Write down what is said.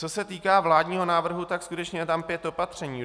Co se týká vládního návrhu, tak skutečně je tam pět opatření.